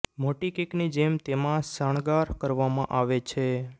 મોટી કેકની જેમ તેમાં શણગાર કરવામાં આવે છે